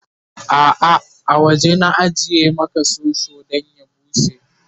a'a a waje na ajiye Maka soso Dan ya bushe